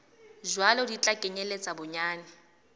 jwalo di tla kenyeletsa bonyane